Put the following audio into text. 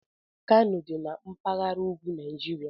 Kano dị na mpaghara ugwu Nigeria